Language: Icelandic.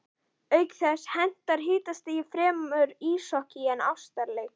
Auk þess hentar hitastigið fremur íshokkí en ástarleik.